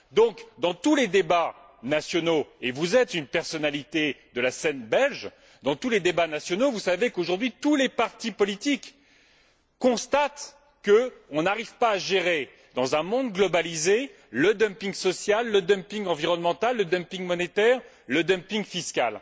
Donc, dans tous les débats nationaux et vous êtes une personnalité de la scène belge vous savez qu'aujourd'hui tous les partis politiques constatent que l'on n'arrive pas à gérer, dans un monde globalisé, le dumping social, le dumping environnemental, le dumping monétaire, le dumping fiscal.